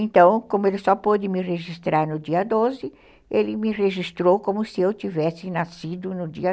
Então, como ele só pôde me registrar no dia doze, ele me registrou como se eu tivesse nascido no dia